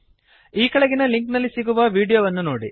ಈ ಕೆಳಗಿನ ಲಿಂಕ್ ನಲ್ಲಿ ಸಿಗುವ ವೀಡಿಯೋವನ್ನು ನೋಡಿ